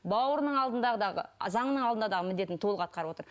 бауырының алдындағы заңның алдында дағы міндетін толық атқарып отыр